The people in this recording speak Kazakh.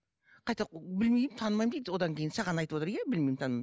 қайта білмеймін танымаймын дейді одан кейін саған айтып отыр иә білмеймін танымаймын